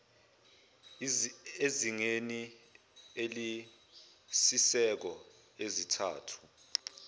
ezingeni eliyisisekelo zintathu